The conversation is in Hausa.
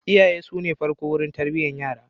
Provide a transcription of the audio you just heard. Iyaye su ne na farko wurin tarbiyyar yara.